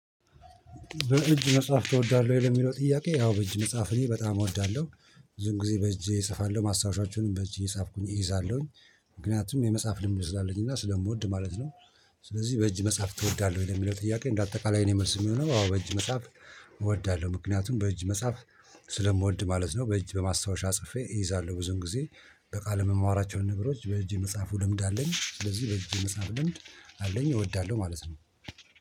በእጅ መጽሐፍ እወዳለሁ ይሄ በሚለው ጥያቄ ያው በእጅ መጽሐፍ እኔ በጣም እወዳለሁ። ብዙን ጊዜ በእጄ እጽፋለሁ ማስታወሻችንን በእጄ እየፃኩኝ እይዛለሁኝ። ምክንያቱም የመጽሐፍ ልምድ ስላለኝና ስለምወድ ማለት ነው። ስለዚህ በእጅ መጽሐፍ ትወዳለህ ወይ ለሚለው ጥያቄ እንደ አጠቃላይ መልሴ የሚሆነው አዎ በእጅ መጽሐፍ። እወዳለሁ ምክንያቱም በእጅ መጽሐፍ ስለምወድ ማለት ነው። በእጅ በማስታወሻ ጽፌ እይዛለሁ ብዙን ጊዜ። በቃል የምማራቸውን ነገሮች በእጄ የመጽሐፍ ልምድ አለኝ። ስለዚህ በልጅ የመጽሐፉ ልምድ አለኝ እወዳለሁ ማለት ነው